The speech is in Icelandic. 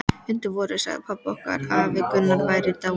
Undir vorið sagði pabbi okkur að afi Gunnar væri dáinn.